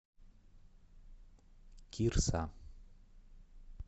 кирса